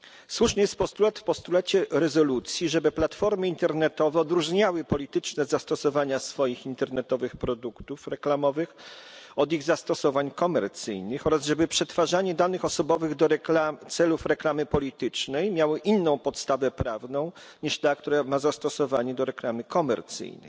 Słuszny jest postulat rezolucji, żeby platformy internetowe odróżniały polityczne zastosowania swoich internetowych produktów reklamowych od ich zastosowań komercyjnych oraz żeby przetwarzanie danych osobowych do celów reklamy politycznej miało inną podstawę prawną niż ta, która ma zastosowanie do reklamy komercyjnej.